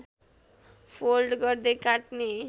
fold गर्दै काट्ने